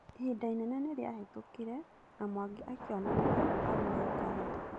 Ihinda inene nĩ rĩahetũkire na Mwangi akĩona nĩwega agũre ngari.